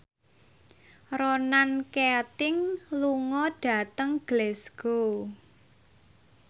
Ronan Keating lunga dhateng Glasgow